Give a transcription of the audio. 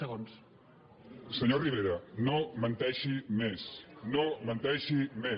senyor rivera no menteixi més no menteixi més